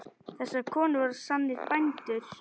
Þessar konur voru sannir bændur.